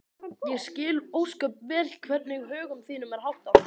Ég skil ósköp vel hvernig högum þínum er háttað.